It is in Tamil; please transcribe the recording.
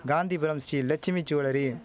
காந்திபுரம் ஸ்ரீ லட்சுமி ஜூவல்லரி